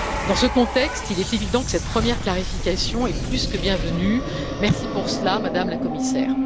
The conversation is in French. Dans ce contexte, il est évident que cette première clarification est plus que bienvenue merci pour cela, Madame la Commissaire.